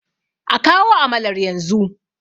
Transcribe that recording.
a kawo amalar yanzu!